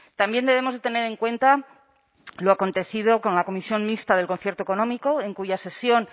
también debemos de tener en cuenta lo acontecido con la comisión mixta del concierto económico en cuya sesión